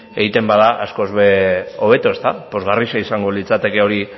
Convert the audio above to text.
egite bada askoz hobeto pozgarria izango litzateke hori